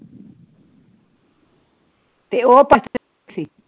ਤੇ ਉਹ